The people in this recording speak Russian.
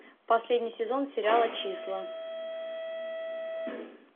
последний сезон сериала числа